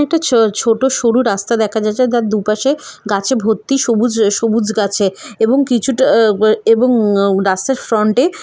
একটা ছো- ছোট সরু রাস্তা দেখা যাচ্ছে যার দুপাশে গাছে ভর্তি সবুজ সবুজ গাছে এবং কিছুটা এবং রাস্তার ফ্রন্টে এ।